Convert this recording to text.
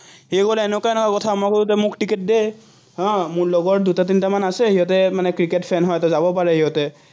সি বোলে এনেকুৱা এনেকুৱা কথা, মই বোলো, তই মোক টিকট দে আহ মোৰ লগৰ দুটা-তিনটা মান আছে, সিহঁতে মানে ক্ৰিকেট fan হয় যাব পাৰে সিহঁতে